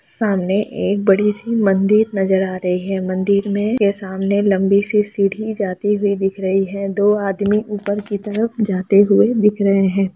सामने के बड़ी-सी मंदिर नजर आ रही है मंदिर में के सामने लम्बी-सी सीढ़ी जाती हुई दिख रही है दो आदमी ऊपर की तरफ जाते हुए दिख रहे है।